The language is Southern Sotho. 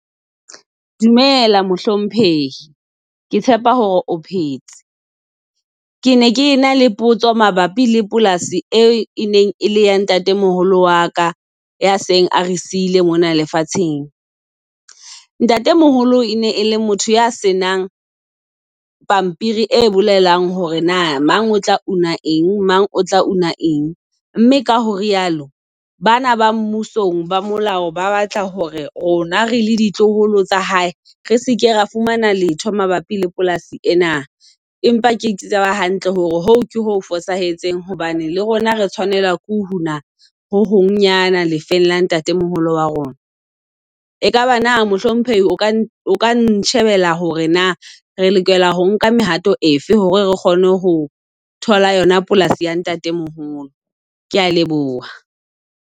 Dumela mohlomphehi ke tshepa hore o phetse. Ke ne ke na le potso mabapi le polasi e e neng e le ya ntate moholo waka ya seng a re siile mona lefatsheng. Ntate moholo e ne e le motho ya senang pampiri e bolelang hore na mang o tla eng, mang o tla eng mme ka ho re yalo, bana ba mmusong ba molao ba batla hore rona re le ditloholo tsa hae, re seke ra fumana letho mabapi le polasi ena, empa ke tseba hantle hore ho ke ho fosahetseng hobane le rona re tshwanela ko ho hong nyana lefeng la ntate moholo wa rona. E kaba na mohlomphehi o ka o ka nshebela hore na re lokela ho nka mehato e fe hore re kgone ho thola yona polasi ya ntate moholo? Kea leboha.